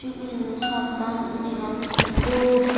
hmm satan ye gan dup.